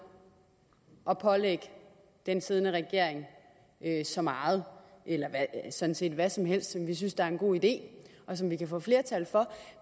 at pålægge den siddende regering så meget eller sådan set hvad som helst som vi synes er en god idé og som vi kan få flertal for